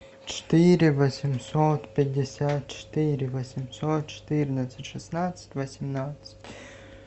четыре восемьсот пятьдесят четыре восемьсот четырнадцать шестнадцать восемнадцать